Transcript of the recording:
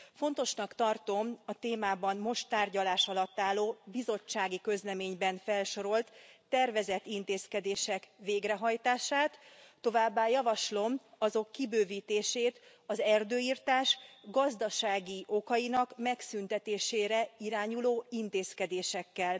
Fontosnak tartom a témában most tárgyalás alatt álló bizottsági közleményben felsorolt tervezett intézkedések végrehajtását, továbbá javaslom azok kibővítését az erdőirtás gazdasági okainak megszüntetésére irányuló intézkedésekkel.